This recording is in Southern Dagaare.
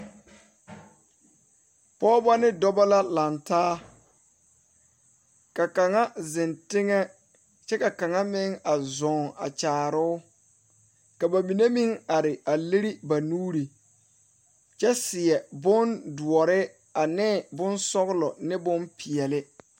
pɔgeba ne dɔba la laŋe taa ka kaŋa zeŋ teŋɛ kyɛ ka a kaŋa meŋ a zʋŋ a kyaare o, ka ba mine meŋ are a leri ba nuuri kyɛ seɛ bondɔre ane bonsɔglɔ ane bonpɛɛle.